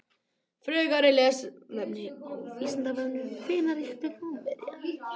Frekara lesefni á Vísindavefnum: Hvenær ríktu Rómverjar?